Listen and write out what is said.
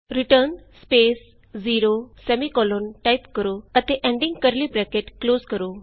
return 0 return 0 type ਕਰੋ ਅਤੇ ending curly bracket close ਕਰੋ